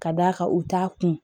Ka d'a kan u t'a kun